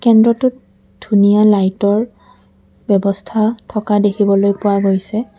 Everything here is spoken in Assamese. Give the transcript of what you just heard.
কেন্দ্ৰটোৰ ধুনীয়া লাইটৰ ব্যৱস্থা থকা দেখিবলৈ পোৱা গৈছে।